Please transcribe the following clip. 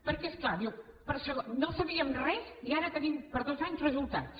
perquè és clar diu no sabíem res i ara tenim per dos anys resultats